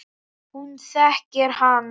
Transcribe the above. Hún þekkir hann.